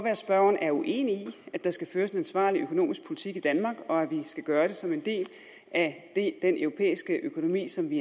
at spørgeren er uenig i at der skal føres en ansvarlig økonomisk politik i danmark og at vi skal gøre det som en del af den europæiske økonomi som vi